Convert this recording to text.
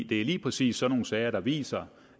det er lige præcis sådan nogle sager der viser